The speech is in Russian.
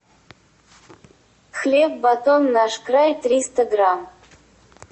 хлеб батон наш край триста грамм